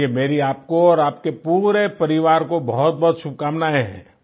चलिये मेरी आपको और आपके पूरे परिवार को बहुतबहुत शुभकामनाएं हैं